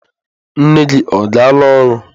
Nne gi ọ gala oru?